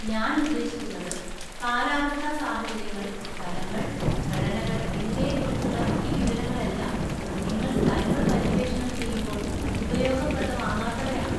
ഞാൻ ഉദ്ദേശിക്കുന്നത്, കാലാവസ്ഥാ സാഹചര്യങ്ങൾ, സ്ഥലങ്ങൾ, ഘടനകൾ എന്നിവയെ കുറിച്ചുള്ള ഈ വിവരങ്ങളെല്ലാം നിങ്ങൾ സ്ഥലങ്ങൾ പര്യവേഷണം ചെയ്യുമ്പോൾ ഉപയോഗപ്രദമാകാത്തവയാണോ?